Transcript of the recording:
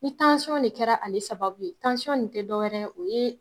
Ni de kɛra ale sababu ye, nin te dɔwɛrɛ ye, o ye